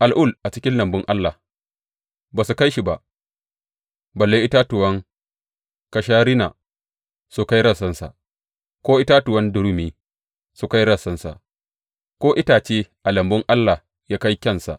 Al’ul a cikin lambun Allah ba su kai shi ba, balle itatuwan kasharina su kai rassansa, ko itatuwan durumi su kai rassansa, ko itace a lambun Allah ya kai kyansa.